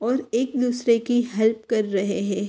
और एक दूसरे की हेल्प कर रहे हैं।